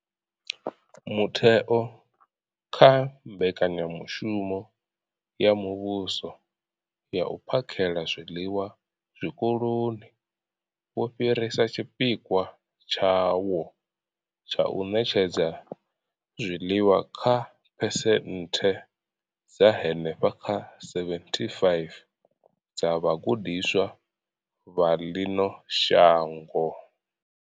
Mutheo, nga kha mbekanyamushumo ya muvhuso ya u phakhela zwiḽiwa zwikoloni, wo fhirisa tshipikwa tshawo tsha u ṋetshedza zwiḽiwa kha phesenthe dza henefha kha 75 dza vhagudiswa vha ḽino shango.